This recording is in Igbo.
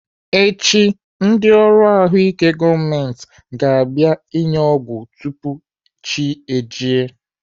Echi, ndị ọrụ ahụike gọọmenti ga-abịa enye ọgwụ tupu chi ejie.